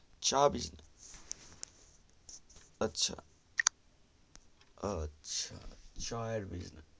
চা business আচ্ছা আচ্ছা চা এর bussines